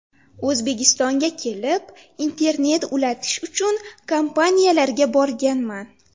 O‘zbekistonga kelib, internet ulatish uchun kompaniyalarga borganman.